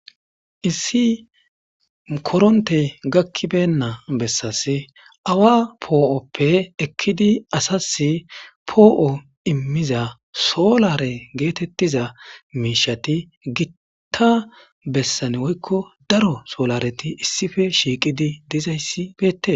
Issi korontey gaki beyna bessasi awa po'oppe ekkidi asasi poo''o imiza solare geetetiza miishati giira bessan woyko daro solareti issippe shiiqidi dizaysi beetes.